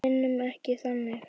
Við vinnum ekki þannig.